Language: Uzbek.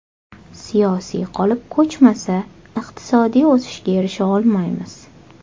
Siyosiy qolip ko‘chmasa, iqtisodiy o‘sishga erisha olmaymiz.